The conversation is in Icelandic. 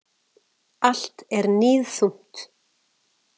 Allt er níðþungt.